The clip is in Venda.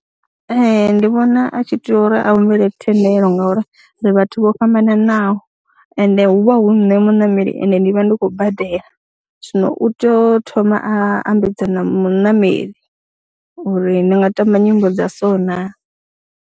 Ee, ndi vhona a tshi tea uri a humbele thendelo ngauri ri vhathu vho fhambananaho ende hu vha hu nṋe muṋameli ende ndi vha ndi khou badela zwino u tou thoma a ambedzana muṋameli uri ndi nga tamba nyimbo dza so naa.